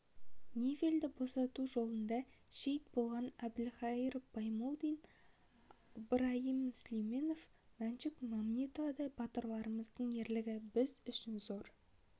невельді босату жолында шейіт болған әбілқайыр баймолдин ыбырайым сүлейменов мәншүк мәметовадай батырларымыздың ерлігі біз үшін зор